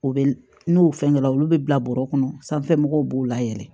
O bɛ n'o fɛn kɛ la olu bɛ bila bɔrɔ kɔnɔ sanfɛ mɔgɔw b'o layɛlɛ